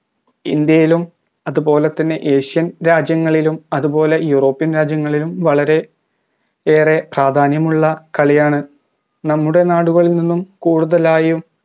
ഇന്ത്യയിലും അതുപോലെ തന്നെ asian രാജ്യങ്ങളിലും അത് പോലെ european രാജ്യങ്ങളിലും വളരെ ഏറെ പ്രാധാന്യമുള്ള കളിയാണ് നമ്മുടെ നാടുകളിൽ നിന്നും കൂടുതലായും